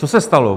Co se stalo?